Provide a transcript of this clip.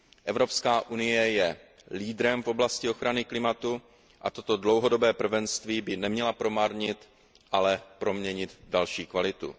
Evropská unie je leaderem v oblasti ochrany klimatu a toto dlouhodobé prvenství by neměla promarnit, ale proměnit v další kvalitu.